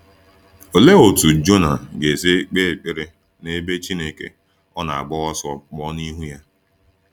Olee otú Jona ga-esi kpee ekpere n’ebe Chineke ọ na-agba ọsọ pụọ n’ihu ya?